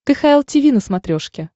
кхл тиви на смотрешке